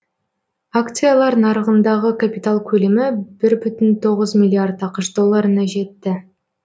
акциялар нарығындағы капитал көлемі бір бүтін тоғыз миллиард ақш долларына жетті